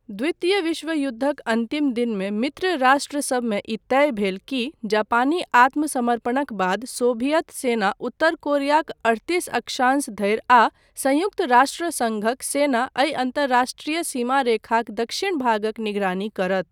द्वितीय विश्वयुद्धक अन्तिम दिनमे मित्र राष्ट्रसभमे ई तय भेल की जापानी आत्म समर्पणक बाद सोभियत सेना उत्तर कोरियाक अठतीस अक्षांश धरि आ संयुक्त राष्ट्र सङ्घक सेना एहि अन्तर्राष्ट्रिय सीमारेखाक दक्षिण भागक निगरानी करत।